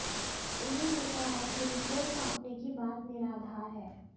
उन्होंने कहा कि रिपोर्ट सौंपने की बात निराधार है